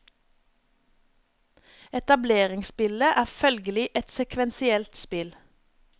Etableringsspillet er følgelig et sekvensielt spill.